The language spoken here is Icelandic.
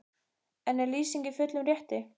En er Lýsing í fullum rétti?